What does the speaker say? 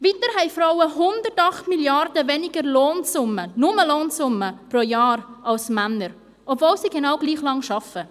Weiter haben Frauen 108 Mrd. Franken weniger Lohnsumme – Lohnsumme pro Jahr – als Männer, obwohl sie genau gleich lang arbeiten.